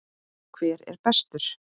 Hver er bestur?